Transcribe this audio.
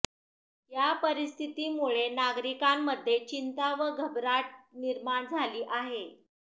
या परिस्थितीमुळे नागरिकांमध्ये चिंता व घबराट निर्माण झाली आहे